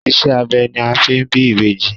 Ìṣe abẹ ni a fi ń bí ìbejì.